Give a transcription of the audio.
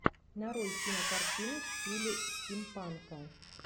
нарой кинокартину в стиле стимпанка